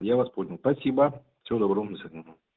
я вас понял спасибо всего доброго вам до свидания